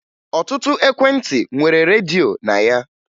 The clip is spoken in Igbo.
Ọtụtụ ekwentị nwere redio na ya